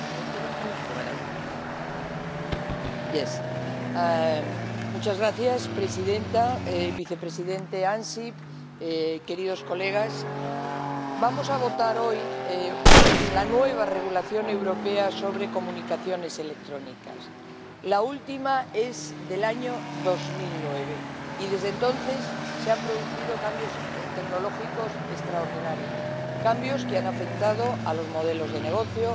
Señora presidenta, señor vicepresidente Ansip, queridos colegas, vamos a votar hoy la nueva regulación europea sobre comunicaciones electrónicas. La última es del año 2009 y, desde entonces, se han producido cambios tecnológicos extraordinarios, cambios que han afectado a los modelos de negocio,